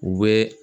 U bɛ